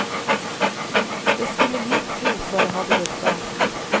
Det skulle lite til før det hadde gått galt.